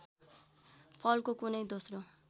फलको कुनै दोस्रो